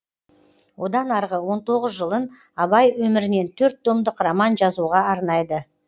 одан арғы он тоғыз жылын абай өмірінен төрт томдық роман жазуға арнайды